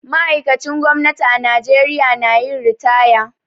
Ma'aikacin gwamnati a Najeriya na yin ritaya.